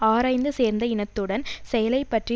ஆராய்ந்து சேர்ந்த இனத்துடன் செயலை பற்றி